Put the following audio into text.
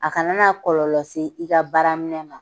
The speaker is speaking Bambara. A kana na kɔlɔlɔ se i ka baara minɛn ma.